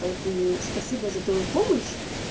поэтому спасибо за твою помощь